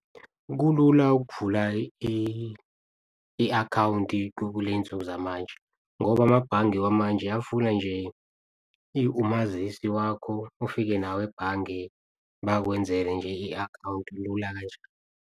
Kulula ukuvula i-akhawunti kuley'nsuku zamanje ngoba amabhange wamanje afuna nje umazisi wakho, ufike nawo ebhange bakwenzele nje i-akhawunti kulula kanjalo.